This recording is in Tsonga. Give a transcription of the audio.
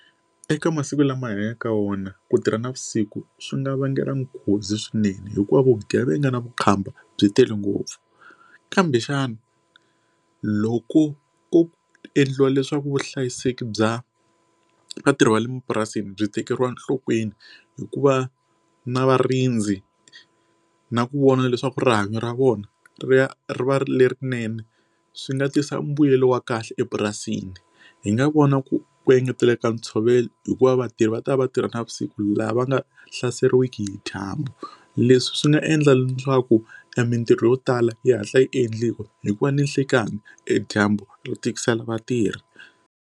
Eka masiku lama hi hanyaka ka wona ku tirha navusiku swi nga vangela nghozi swinene hikuva vugevenga na vukhamba byi tele ngopfu kambe xana loko ku endliwa leswaku vuhlayiseki bya vatirhi va le mapurasini byi tekeriwa enhlokweni hikuva na varindzi na ku vona leswaku rihanyo ra vona ri ya ri va ri lerinene swi nga tisa mbuyelo wa kahle epurasini hi nga vona ku ku engetela ka ntshovelo hikuva vatirhi va ta va va tirha navusiku laha va nga hlaseriwiki hi dyambu leswi swi nga endla na swaku e mintirho yo tala yi hatla yi endliwa hi ku va ninhlekani e dyambu ro tikisela vatirhi.